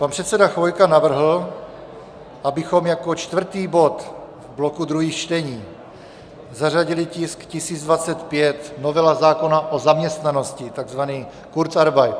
Pan předseda Chvojka navrhl, abychom jako čtvrtý bod v bloku druhých čtení zařadili tisk 1025, novela zákona o zaměstnanosti, takzvaný kurzarbeit.